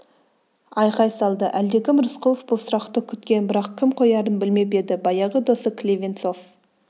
айқай салды әлдекім рысқұлов бұл сұрақты күткен бірақ кім қоярын білмеп еді баяғы досы клевенцов